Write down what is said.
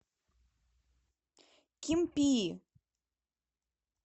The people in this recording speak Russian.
кимпии